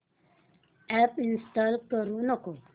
app install करू नको